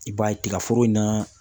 I b'a ye tigaforo in na